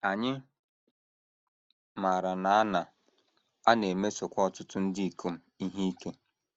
Anyị maara na a na - a na - emesokwa ọtụtụ ndị ikom ihe ike.